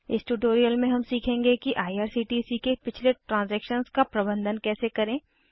इस ट्यूटोरियल में हम सीखेंगे कि आईआरसीटीसी के पिछले ट्रांज़ैक्शन का प्रबंधन कैसे करें